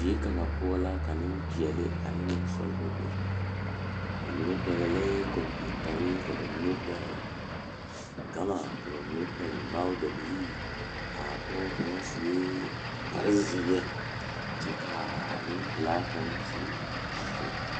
Die kaŋ poɔ la ka nimpeɛle ane niŋsɔglɔ be ba mine pɛglɛɛ kompeutare ka mine pɛgle gama ka mine pɛgle magdabilee a pɔge kaŋa sue kpare zeɛ kyɛ kaa nimpilaa kaŋ sue sɔgla.